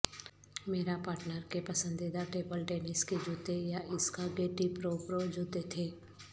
میرا پارٹنر کے پسندیدہ ٹیبل ٹینس کے جوتے یااسکا گیٹی پرو پرو جوتے تھے